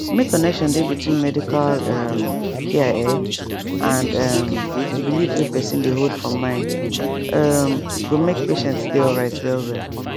make connection dey between medical um care ehh and um belief wey person dey hold for mind um go make patient dey alright well well